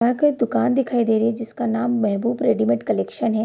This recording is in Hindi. यह कोई दूकान दिखाई दे रही है जिसका नाम महबूब रेडीमेड कलेक्शन है।